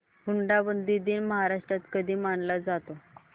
हुंडाबंदी दिन महाराष्ट्रात कधी मानला जातो